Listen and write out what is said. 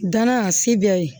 Danna sebe ye